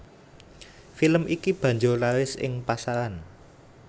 Film iki banjur laris ing pasaran